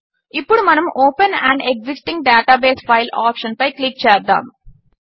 ఇప్పుడు మనము open an existing database file ఆప్షన్పై క్లిక్ చేద్దాము